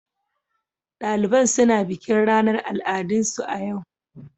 Daliban suna bikin ranar al'adunsu a yau.